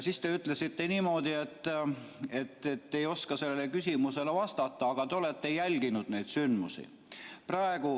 Siis te ütlesite niimoodi, et te ei oska sellele küsimusele vastata, aga te olete jälginud neid sündmusi.